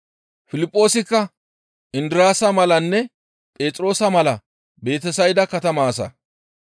Piliphoosikka Indiraasa malanne Phexroosa mala Betesayda katama asa.